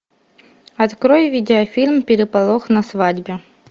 открой видеофильм переполох на свадьбе